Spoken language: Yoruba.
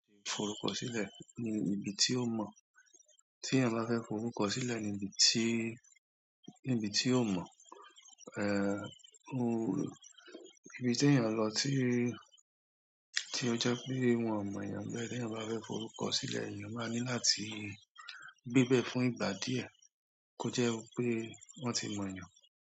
Forukọsilẹ ní ibi tí ó mọ, tí ènìyàn bá fẹ́ forukọsilẹ níbi tí, níbi tí ó mọ, ibi tí èyàn lọ tí, tí o jẹ pé wọn mọ èyàn nbẹ, tí eyan bá fẹ́ forukọsilẹ, èyàn má ní láti gbé bẹ fún ìgbà diẹ, kò jẹ wípé wọn ti mọ èyàn.